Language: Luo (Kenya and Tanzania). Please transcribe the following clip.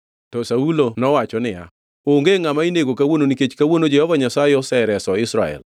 To Saulo nowacho niya, “Onge ngʼama inego kawuono nikech kawuono Jehova Nyasaye osereso Israel.”